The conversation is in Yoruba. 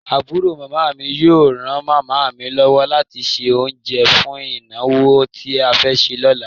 Àbúrò màmá mi yóò ran màmá mi lọ́wọ́ láti se oúnjẹ́ fún ìnàwó tí a fẹ́ ṣe ní ọ̀la.